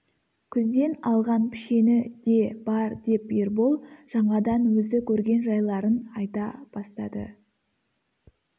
күзден алған пішені де бар деп ербол жаңадан өзі көрген жайларын айта бастады